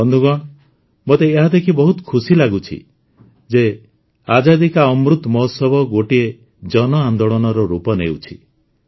ବନ୍ଧୁଗଣ ମୋତେ ଏହା ଦେଖି ବହୁତ ଖୁସି ଲାଗୁଛି ଯେ ଆଜାଦୀ କା ଅମୃତ ମହୋତ୍ସବ ଗୋଟିଏ ଜନଆନ୍ଦୋଳନର ରୂପ ନେଉଛି